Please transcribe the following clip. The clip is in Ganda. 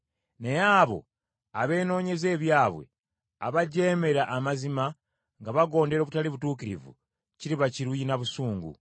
Naye abo abeenoonyeza ebyabwe, abajeemera amazima nga bagondera obutali butuukirivu, kiriba kiruyi na busungu.